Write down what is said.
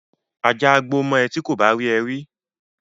Ajá á gbó mọ ẹ ti kò bá rí ẹ rí